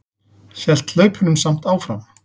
Hélt hlaupunum samt áfram.